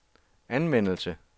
anvendelse